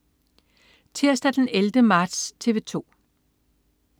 Tirsdag den 11. marts - TV 2: